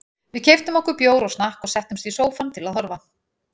Við keyptum okkur bjór og snakk og settumst í sófann til að horfa.